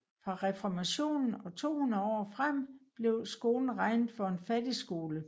Fra reformationen og 200 år frem blev skolen regnet for en fattigskole